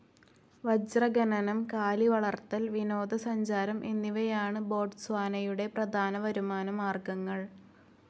വജ്രഖനനം, കാലിവളർത്തൽ, വിനോദസഞ്ചാരം എന്നിവയാണ് ബോട്സ്വാനയുടെ പ്രധാന വരുമാനമാർഗങ്ങൾ.